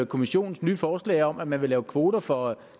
kommissionens nye forslag om at man vil lave kvoter for